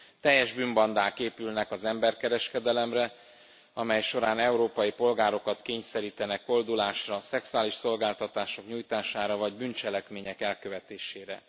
Teljes bűnbandák épülnek az emberkereskedelemre, amely során európai polgárokat kényszerítenek koldulásra, szexuális szolgáltatások nyújtására, vagy bűncselekmények elkövetésére.